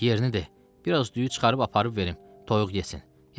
Yerini de, biraz düyü çıxarıb aparıb verim, toyuq yesin.